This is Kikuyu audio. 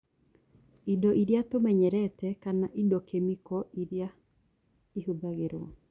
Indo iria tũmenyerete kama indo kĩmĩko iria ĩhũthagĩrwo